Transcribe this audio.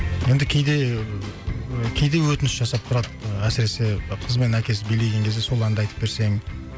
енді кейде ііі кейде өтініш жасап тұрады әсіресе қыз бен әкесі билеген кезде сол әнді айтып берсең